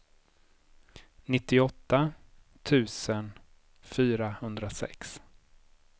nittioåtta tusen fyrahundrasex